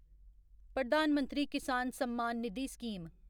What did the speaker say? Pradhan Mantri Kisan Samman Nidhi scheme